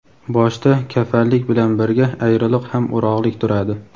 Boshda kafanlik bilan birga ayriliq ham o‘rog‘lik turadi.